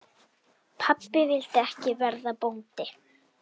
Pabbi vildi ekki verða bóndi.